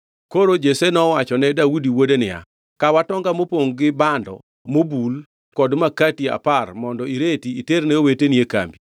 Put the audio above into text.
Koro Jesse nowachone Daudi wuode niya, “Kaw atonga mopongʼ gi bando mobul kod makati apar mondo ireti iterne oweteni e kambigi.